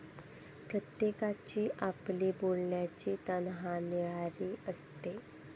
प्रत्येकाची आपली बोलायची तऱ्हा निराळी असते.